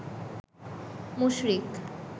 মুশরিক